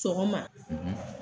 Sɔgɔma.